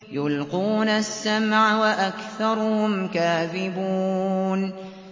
يُلْقُونَ السَّمْعَ وَأَكْثَرُهُمْ كَاذِبُونَ